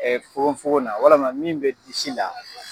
Ɛɛ fokon fokon na walama min be disi la